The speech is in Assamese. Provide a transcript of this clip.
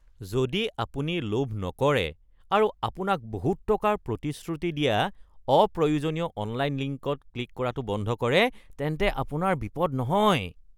যদি আপুনি লোভ নকৰে আৰু আপোনাক বহুত টকাৰ প্ৰতিশ্ৰুতি দিয়া অপ্ৰয়োজনীয় অনলাইন লিংকত ক্লিক কৰাটো বন্ধ কৰে তেন্তে আপোনাৰ বিপদ নহয়। (বন্ধু ২)